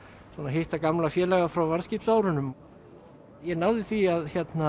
hitta gamla félaga frá varðskipsárunum ég náði því